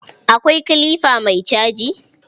Akwai kilifa mai caji?